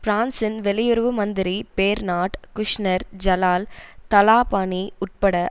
பிரான்சின் வெளியுறவு மந்திரி பேர்னார்ட் குஷ்நெர் ஜலால் தலாபானி உட்பட